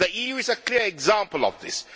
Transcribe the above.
The EU is a clear example of this.